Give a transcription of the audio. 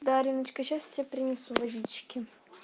да ариночка сейчас тебе принесу водички